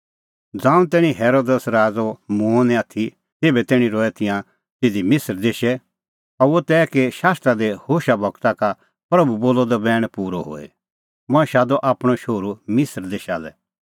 ज़ांऊं तैणीं हेरोदेस राज़अ मूंअ निं आथी तेभै तैणीं रहै तिंयां तिधी मिसर देशै अह हुअ तै कि शास्त्रा दी होशा गूरा का प्रभू बोलअ द बैण पूरअ होए मंऐं शादअ आपणअ शोहरू मिसर देशा लै